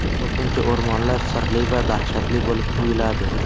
Ko‘pincha o‘rmonlar sirli va dahshatli bo‘lib tuyuladi.